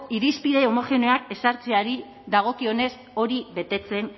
irizpide homogeneoak ezartzeari dagokionez